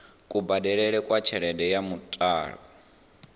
kubadelele kwa tshelede ya muthelo